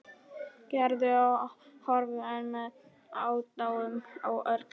Gerður og horfði enn með aðdáun á Örn.